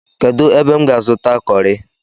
Kedu ebe m ga-azuta kọri?